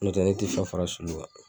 N'o tɛ ne te ne tɛ fɛn fara sulu kan